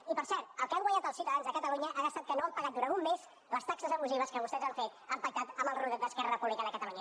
i per cert el que han guanyat els ciutadans de catalunya ha estat que no han pagat durant un mes les taxes abusives que vostès han fet han pactat amb el rodet d’esquerra republicana de catalunya